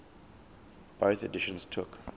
bofh editions took